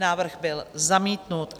Návrh byl zamítnut.